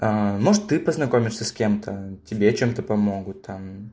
может ты познакомишься с кем-то тебе чем-то помогут там